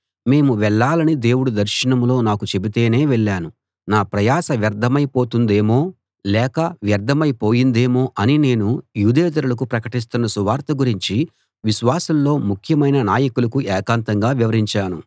మేము వెళ్ళాలని దేవుడు దర్శనంలో నాకు చెబితేనే వెళ్ళాను నా ప్రయాస వ్యర్థమైపోతుందేమో లేక వ్యర్థమైపోయిందేమో అని నేను యూదేతరులకు ప్రకటిస్తున్న సువార్త గురించి విశ్వాసుల్లో ముఖ్యమైన నాయకులకు ఏకాంతంగా వివరించాను